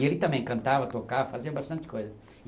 E ele também cantava, tocava, fazia bastante coisa.